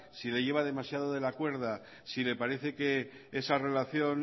si le lleva demasiado de la cuerda si le parece que esa relación